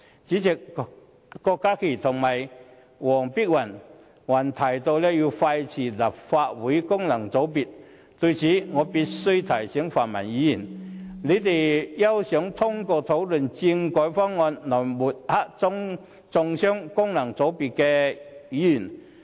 主席，郭家麒議員和黃碧雲議員還提到要廢除立法會功能界別，就此，我必須提醒泛民議員，他們休想通過討論政改方案來抹黑和中傷功能界別的議員。